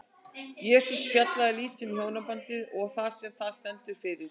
Jesús fjallaði lítið um hjónabandið og það sem það stendur fyrir.